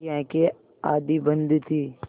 उनकी आँखें आधी बंद थीं